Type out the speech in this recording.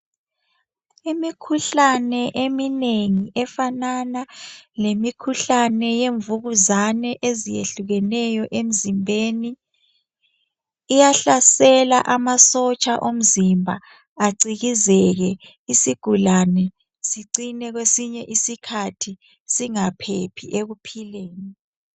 Imikhuhlane eminengi efanana lemikhuhlane yemvukuzane ezehlukeneyo emzimbeni iyahlasela amasotsha omzimba acikizeke isigulane sicine kwesinye isikhathi singaphephi ekuphileni.